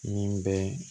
Min bɛ